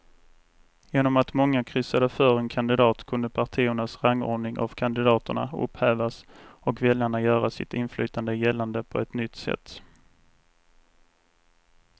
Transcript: Genom att många kryssade för en kandidat kunde partiernas rangordning av kandidaterna upphävas och väljarna göra sitt inflytande gällande på ett nytt sätt.